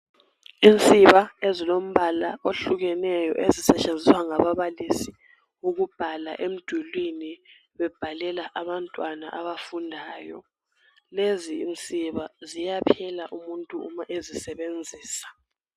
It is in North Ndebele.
Insiba ezilombala ohlukeneyo ezisetshenziswa ngababalisi ukubhala emdulwini ,bebhalela abantwana abafundayo .Lezinsiba ziyaphela umuntu uma ezisebenzisa.